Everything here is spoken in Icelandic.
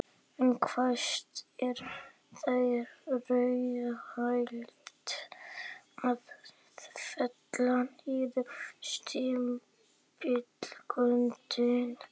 En hvenær er þá raunhæft að fella niður stimpilgjöldin?